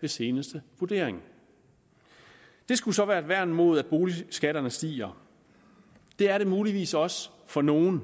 ved seneste vurdering det skulle så være et værn mod at boligskatterne stiger det er det muligvis også for nogle